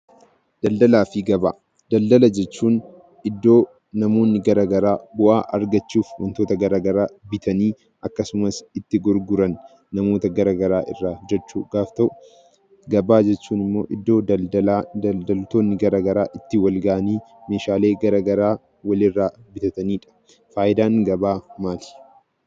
Daldalaafi gabaa. Daldala jechuun iddoo namoonni garagaraa bu'aa argachuuf wantota gara garaa bitanii akkasumas itti gurguran namoota gara garaa irraa jechuu gaaf ta'u gabaa jechuun immoo iddoo daldalaa daldaltoonni garaa garaa itti wal ga'anii meeshaalee gara garaa walirraa bitatanidha. Faayidaan gabaa maali?